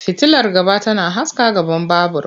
Fitilar gaba tana haska gaban babur.